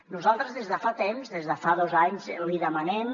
nosaltres des de fa temps des de fa dos anys li demanem